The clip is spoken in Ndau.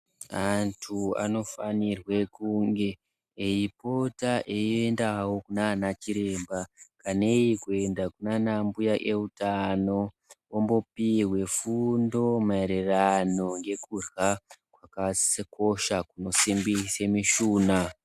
Antu anofanirwa kunge eipota eindawo kunaana chiremba. Kanei kuenda kunaana mbuya eutano ombopihwa fundo maererano nekudyra kwakakosha kunosimbisa mushuna.